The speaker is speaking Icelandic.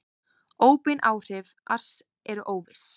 Óbein áhrif ars eru óviss.